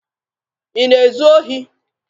Ị na-ezu ohi?